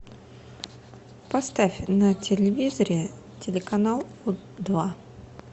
поставь на телевизоре телеканал два